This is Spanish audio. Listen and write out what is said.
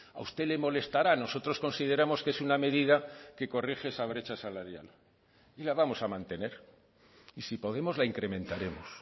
a usted le molestará nosotros consideramos que es una medida que corrige esa brecha salarial y la vamos a mantener y si podemos la incrementaremos